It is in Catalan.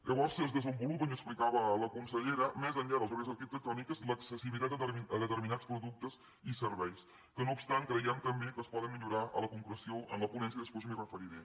llavors es desenvolupa ens explicava la consellera més enllà de les barreres arquitectòniques l’accessibilitat a determinats productes i serveis que no obstant creiem també que es poden millorar a la concreció en la ponència i després m’hi referiré